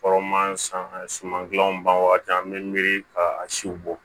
Kɔrɔman san suman kilan ban wagati an be miiri ka siw bɔ